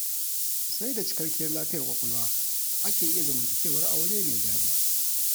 Sai da cikakkiyar lafiyar ƙwaƙwalwa ake iya zamantakewar aure mai daɗi